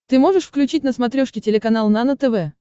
ты можешь включить на смотрешке телеканал нано тв